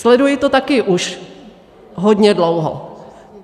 Sleduji to taky už hodně dlouho.